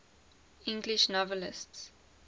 english novelists